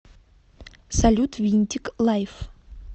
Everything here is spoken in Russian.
салют винтик лайф